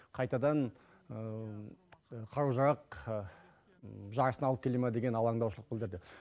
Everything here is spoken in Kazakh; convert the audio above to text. қайтадан қару жарақ жарысына алып келе ма деген алаңдаушылық білдірді